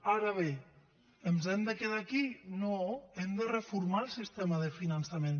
ara bé ens hem de quedar aquí no hem de reformar el sistema de finançament